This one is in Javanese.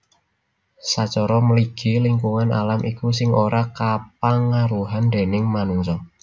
Sacara mligi lingkungan alam iku sing ora kapangaruhan déning manungsa